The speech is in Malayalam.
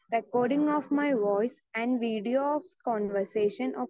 speaker 2 recording my voice and video of conversation of